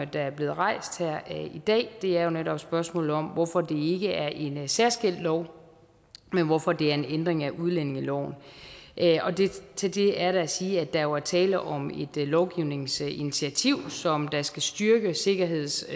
der er blevet rejst her i dag er jo netop spørgsmålet om hvorfor det ikke er en særskilt lov men hvorfor det er en ændring af udlændingeloven til det er der at sige at der jo er tale om et lovgivningsinitiativ som skal styrke sikkerheds